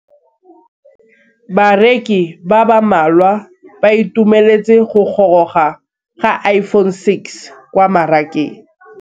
Bareki ba ba malwa ba ituemeletse go gôrôga ga Iphone6 kwa mmarakeng.